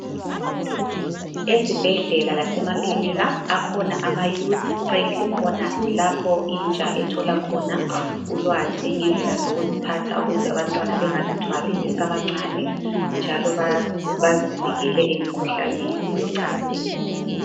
Ezibhedlela lasemakilinika akhona amayouth friendly corners lapho intsha ethola khona ulwazi ngendlela zokuziphatha ukuze abantwana bengazithwali besabancane njalo bazivikele emikhuhlaneni yocansini.